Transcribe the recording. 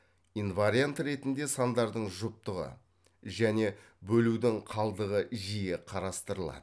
инвариант ретінде сандардың жұптығы және бөлудің қалдығы жиі қарастырылады